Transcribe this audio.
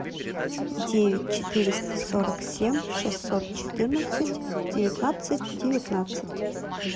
девять четыреста сорок семь шестьсот четырнадцать девятнадцать девятнадцать